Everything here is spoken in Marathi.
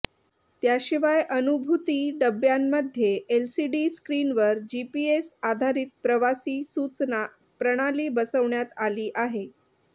त्याशिवाय अनुभूती डब्यांमध्ये एलसीडी स्क्रीनवर जीपीएस आधारित प्रवासी सूचना प्रणाली बसवण्यात आली आहे